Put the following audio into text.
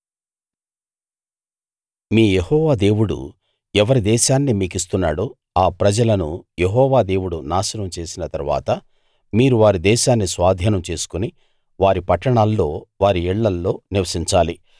మీ యెహోవా దేవుడు ఎవరి దేశాన్ని మీకిస్తున్నాడో ఆ ప్రజలను యెహోవా దేవుడు నాశనం చేసిన తరువాత మీరు వారి దేశాన్ని స్వాధీనం చేసుకుని వారి పట్టణాల్లో వారి ఇళ్ళల్లో నివసించాలి